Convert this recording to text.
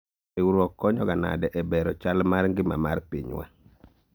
riwruok konyoga nade e bero chal mar ngima mar pinywa ?